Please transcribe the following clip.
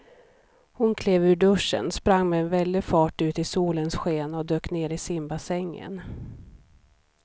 Hon klev ur duschen, sprang med väldig fart ut i solens sken och dök ner i simbassängen.